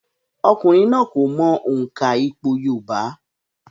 Ọkùnrin náà kò mọ òǹkà ìpò yorùbá